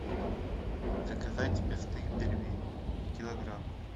заказать мясные пельмени килограмм